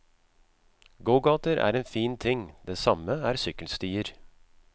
Gågater er en fin ting, det samme er sykkelstier.